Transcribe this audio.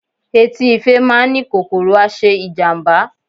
Etí ife má a ni kòkòrò aṣe ijamba